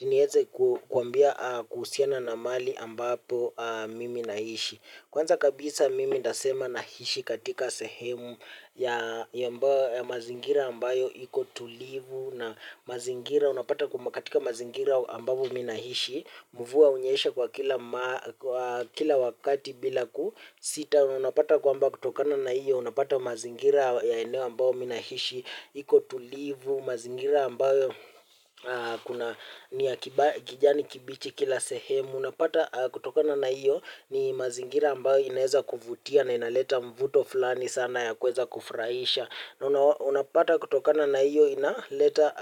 Nieze kuambia kuhusina na mahali ambapo mimi naishi. Kwanza kabisa mimi ntasema naishi katika sehemu ya mazingira ambayo iko tulivu. Na mazingira unapata katika mazingira ambapo mimi nahishi. Mvua hunyesha kwa kila wakati bila kusita. Unapata kwamba kutokana na iyo unapata mazingira ya eneo ambapo mimii naishi. Iko tulivu, mazingira ambayo kuna kijani kibichi kila sehemu. Unapata kutokana na iyo ni mazingira ambayo inaweza kuvuatia na inaleta mvuto fulani sana ya kuweza kufurahisha. Unapata kutokana na iyo inaleta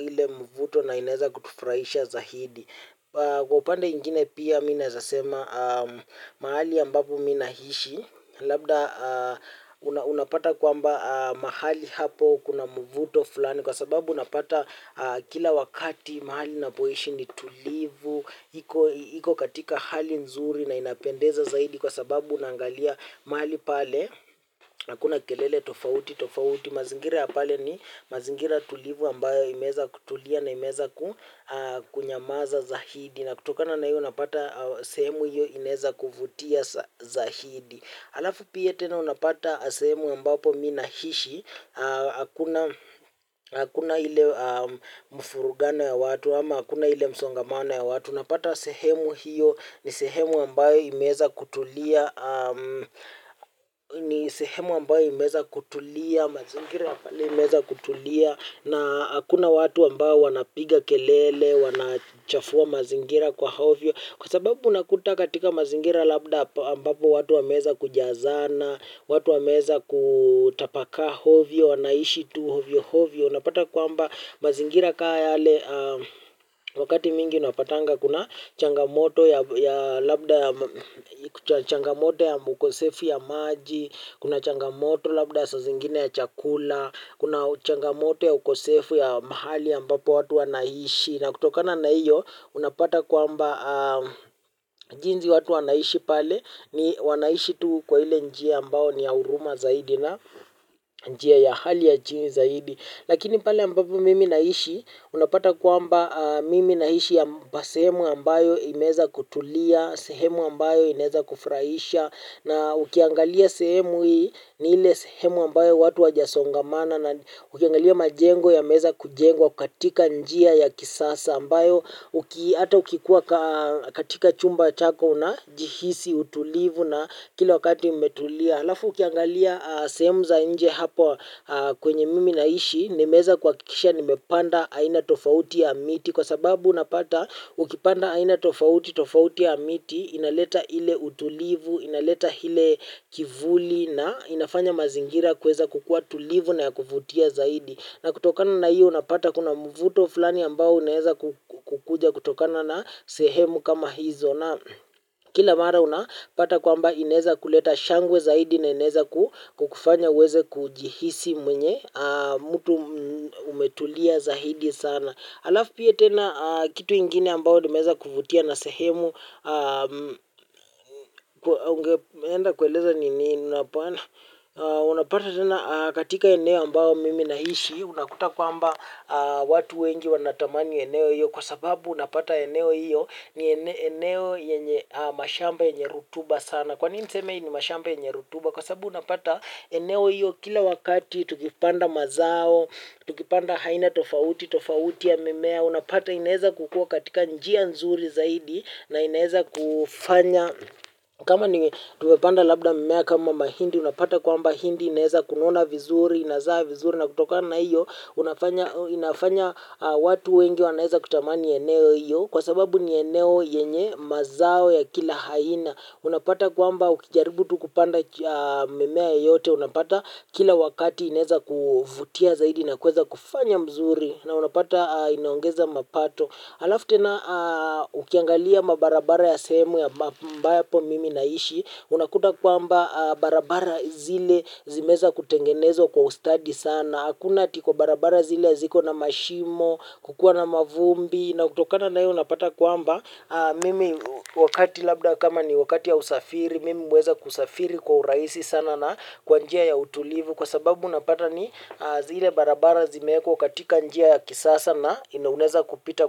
ile mvuto na inaeza kufurahisha zaidi. Kwa upande mwingine pia mimi naweza sema mahali ambapo mimi naishi. Labda unapata kwamba mahali hapo kuna muvuto fulani. Kwa sababu unapata kila wakati mahali napoishi ni tulivu. Iko katika hali nzuri na inapendeza zaidi. Kwa sababu unangalia mahali pale hakuna kelele tofauti tofauti. Mazingira ya pale ni mazingira tulivu ambayo imeweza kutulia na imeweza kunyamaza zaidi. Na kutokana naiyo unapata sehemu hiyo inaweza kuvutia zaidi. Halafu pia tena unapata sehemu ambapo mimi naishi, hakuna ile mvurugano ya watu, ama hakuna ile msongamano ya watu. Unapata sehemu hiyo ni sehemu ambayo imeweza kutulia, ni sehemu ambayo imeweza kutulia, mazingira ya pale imeweza kutulia. Na hakuna watu ambao wanapiga kelele, wanachafua mazingira kwa ovyo. Kwa sababu unakuta katika mazingira labda ambapo watu wameweza kujazana. Watu wameweza kutapakaa ovyo, wanaishi tu ovyoovyo. Unapata kwamba mazingira kaa yale wakati mwingi unapatanga. Kuna changamoto ya labda ya ukosefu wa maji. Kuna changamoto labda ya saa zingine ya chakula. Kuna changamoto ya ukosefu ya mahali ambapo watu wanaishi. Na kutokana na iyo unapata kuamba jinsi watu wanaishi pale wanaishi tu kwa ile njia ambayo ni ya huruma zaidi na njia ya hali ya chini zaidi. Lakini pale ambapo mimi naishi unapata kwamba mimi naishi sehemu ambayo imezweza kutulia. Sehemu ambayo ineweza kufurahisha. Na ukiangalia sehemu hii ni ile sehemu ambayo watu wajasongamana na ukiangalia majengo yameweeza kujengwa katika njia ya kisasa ambayo ata ukikuwa katika chumba chako unejihisi utulivu na kila wakati umetulia. Halafu ukiangalia sehemu za nje hapa kwenye mimi naishi nimeweza kuhakikisha nimepanda aina tofauti ya miti kwa sababu unapata ukipanda aina tofauti tofauti ya miti inaleta ile utulivu inaleta ille kivuli na inafanya mazingira kuweza kukuwa tulivu na ya kuvutia zaidi na kutokana na hiyo unapata kuna mvuto fulani ambao uneweza kukuja kutokana na sehemu kama hizo na kila mara unapata kwamba ineweza kuleta shangwe zaidi na ineweza kukufanya uweze kujihisi mwenye mtu umetulia zaidi sana. Alafu pia tena kitu ingine ambayo nimeweza kuvutia na sehemu, unapata tena katika eneo ambao mimi nahishi, unakuta kwamba watu wengi wanatamani eneo hiyo kwa sababu unapata eneo hiyo ni eneo mashamba yenye rutuba sana. Kwanini niseme hii ni mashamba ynye rutuba? Kwa sababu unapata eneo hilo kila wakati, tukipanda mazao, tukipanda aaina tofauti, tofauti ya mimea, unapata inaweza kukua katika njia nzuri zaidi, na inaweza kufanya, kama ni tumepanda labda mimea kama mahindi, unapata kwamba hindi, inaweza kunona vizuri, inazaa vizuri, na kutokana hiyo, inafanya watu wengi wanaeza kutamani eneo hiyo, kwa sababu ni eneo yenye mazao ya kila aina. Unapata kwamba ukijaribu tu kupanda mimea yoyote, unapata kila wakati inaweza kuvutia zaidi na kuweza kufanya mzuri na unapata inaongeza mapato. Alafu tena na ukiangalia barabara ya sehemu ambapo mimi naishi, unakuta kwamba barabara zile zimeweza kutengenezwa kwa ustadi sana. Na hakuna tiko barabara zile ya ziko na mashimo, kukuwa na mavumbi, na utokana na hiyo unapata kwamba, mimi wakati labda kama ni wakati ya usafiri, mimi huweza kusafiri kwa urahisi sana na kwa njia ya utulivu, kwa sababu unapata ni zile barabara zimeekwa katika njia ya kisasa na una weza kupita.